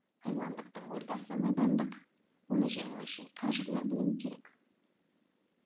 айуандықтың ордасы надандық оны жеңу үшін қажырлы білім керек